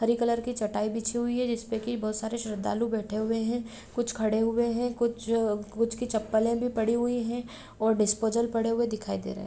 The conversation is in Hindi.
हरी कलर की चटाई बिछी हुई है जिससे की बहुत सारी श्रद्धालु बैठे हुए हैं कुछ खड़े हुए हैं कुछ-कुछ की चप्पल है भी पड़ी हुई है और डिस्पोजल पड़े हुए दिखाई दे रहा है।